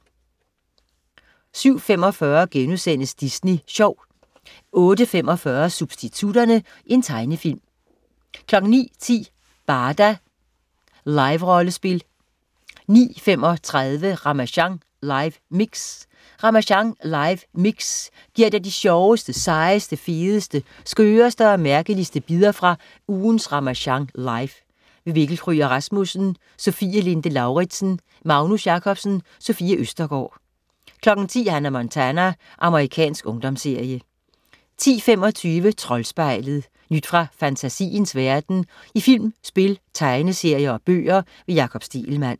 07.45 Disney Sjov* 08.45 Substitutterne. Tegnefilm 09.10 Barda. Liverollespil 09.35 Ramasjang live mix. Ramasjang live mix giver dig de sjoveste, sejeste, fedeste, skøreste og mærkeligste bidder fra ugens Ramasjang Live. Mikkel Kryger Rasmussen, Sofie Linde Lauridsen, Magnus Jacobsen, Sofie Østergaard 10.00 Hannah Montana. Amerikansk ungdomsserie 10.25 Troldspejlet.. Nyt fra fantasiens verden i film, spil, tegneserier og bøger. Jakob Stegelmann